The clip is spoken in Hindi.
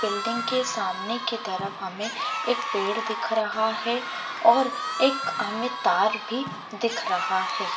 बिल्डिंग के सामने की तरफ हमें एक पेड़ दिख रहा है और एक हमें तार भी दिख रहा है।